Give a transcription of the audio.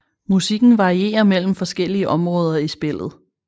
Musikken varierer mellem forskellige områder i spillet